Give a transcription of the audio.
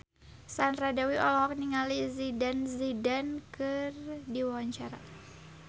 Sandra Dewi olohok ningali Zidane Zidane keur diwawancara